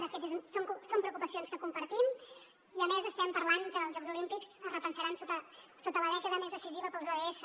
de fet són preocupacions que compartim i a més estem parlant que els jocs olímpics es repensaran sota la dècada més decisiva per als ods